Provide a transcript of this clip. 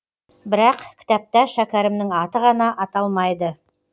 бірақ кітапта шәкәрімнің аты ғана аталмайды